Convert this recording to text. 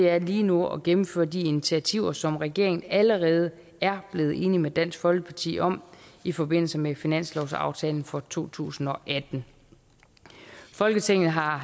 er lige nu at gennemføre de initiativer som regeringen allerede er blevet enig med dansk folkeparti om i forbindelse med finanslovsaftalen for to tusind og atten folketinget har